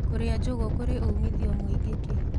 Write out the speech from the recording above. Kũrĩa njũgũ kũrĩ ũmĩthĩo mwĩĩngĩ kĩ